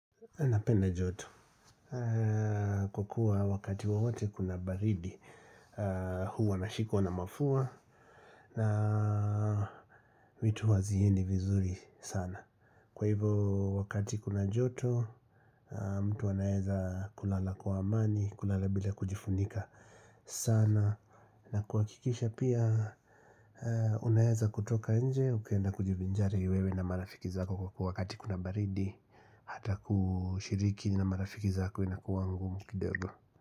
Napenda joto kukua wakati wowote kuna baridi huwa nashikwa na mafua na vitu haziendi vizuri sana Kwa hivo wakati kuna joto mtu anaeza kulala kwa amani kulala bila kujifunika sana na kuhakikisha pia unaweza kutoka nje ukaenda kujivinjari wewe na marafiki zako kwakua wakati kuna baridi Hata kushiriki na marafiki zako inakua ngumu kidogo.